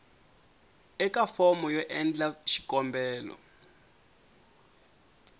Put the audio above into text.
eka fomo yo endla xikombelo